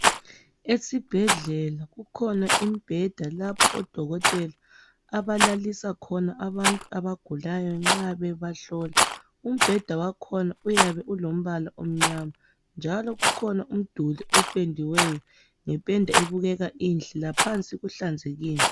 Esibhedlela kukhona umbheda lapho odokotela abalalisa khona abantu abagulayo nxa bebahlola. Umbheda wakhona uyabe ulombala omnyama njalo kukhona umduli opendiweyo ngependa ebukeka inhle. Laphansi kuhlanzekile.